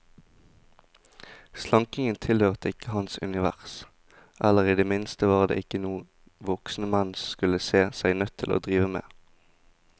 Slankingen tilhørte ikke hans univers, eller i det minste var det ikke noe voksne menn skulle se seg nødt til å drive med.